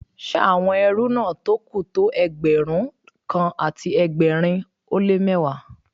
Ṣé àwọn ẹrú náà tó kù tó Ẹgbẹ̀rún kan àti ẹgbẹ̀rin ó lé mẹ́wàá